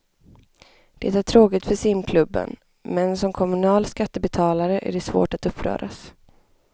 Det är tråkigt för simklubben, men som kommunal skattebetalare är det svårt att uppröras.